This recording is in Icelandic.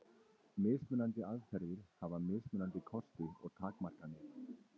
Mismunandi aðferðir hafa mismunandi kosti og takmarkanir.